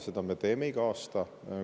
Seda me teeme iga aasta.